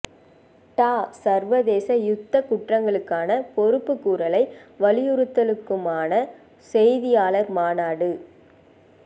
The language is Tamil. ட சர்வதேச யுத்தக் குற்றங்களுக்கான பொறுப்புக்கூறலை வலியுறுத்தலுதற்கானதுமான செய்தியாளர் மாநாடு